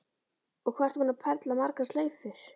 Og hvað ertu búin að perla margar slaufur?